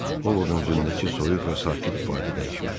O ovudun üzündəki soyuq və sakit ifadə dəyişmədi.